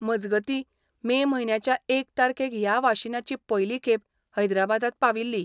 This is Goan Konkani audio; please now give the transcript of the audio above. मजगती, मे म्हयन्याच्या एक तारखेक ह्या वाशिनाची पयली खेप हैदराबादात पाविल्ली.